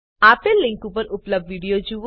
આપેલ લીંક પર ઉપલબ્ધ વિડીઓ જુઓ